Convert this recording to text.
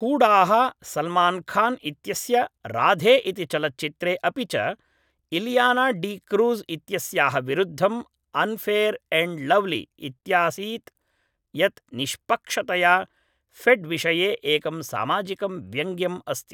हूडाः सल्मान्खान् इत्यस्य राधे इति चलच्चित्रे अपि च इलियाना डी क्रूज् इत्यस्याः विरुद्धम् अन्फेयर् एण्ड् लव्ली इत्यासीत् यत् निष्पक्षतया फेड्विषये एकं सामाजिकं व्यङ्ग्यम् अस्ति